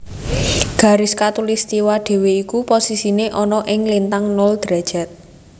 Garis Katulistiwa dhewe iku posisine ana ing lintang nol derajat